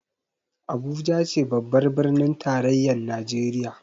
Abuja ce babbar birnin tarayyar Najeriya